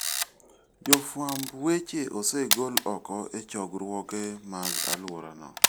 Jofwamb weche osegol oko e chokruoge mag alworano.